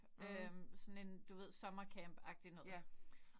Øh du ved sådan en sommercampagtigt noget